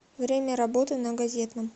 время работы на газетном